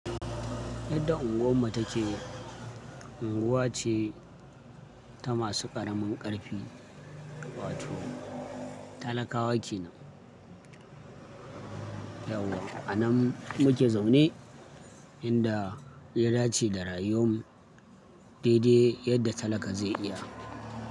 Yadda unguwar mu take, unguwa ce ta masu ƙaramin ƙarfi, wato talakawa kenan. Yauwa a nan muke zaune inda ya dace da rayuwan mu daidai yadda talaka zai iya.